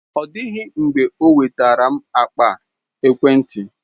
Ọ dịghị mgbe ọ nwetara m akpa ekwentị.